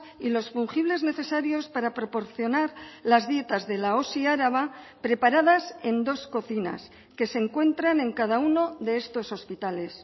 y los fungibles necesarios para proporcionar las dietas de la osi araba preparadas en dos cocinas que se encuentran en cada uno de estos hospitales